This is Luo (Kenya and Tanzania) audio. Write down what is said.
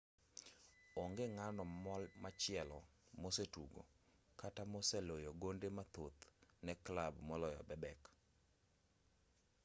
onge ng'ano machielo mosetugo kata moseloyo gonde mathoth ne clab maloyo bebek